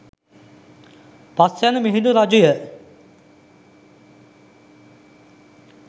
පස්වැනි Mihindu රජුය.